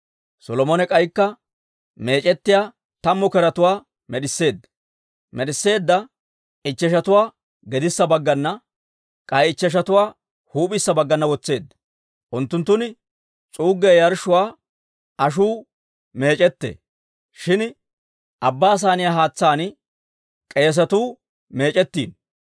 Solomone k'aykka meec'ettiyaa tammu keretuwaa med'isseedda; med'isseedda ichcheshatuwaa gedissa baggana, k'ay ichcheshatuwaa huup'issa baggana wotseedda. Unttunttun s'uuggiyaa yarshshuwaa ashuu meec'ettee; shin Abbaa Saaniyaa haatsaan k'eesatuu meec'ettino.